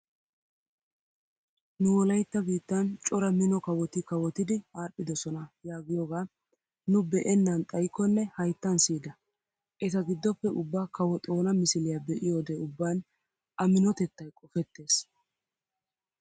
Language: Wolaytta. Nu wolaytta biittan cora mino kawoti kawotidi aadhdhidosona giyoogaa nu be'ennan xayikkonne hayttan siyida. Eta giddoppe ubba kawo xoona misiliya be'yode ubban A minotettay qofettees.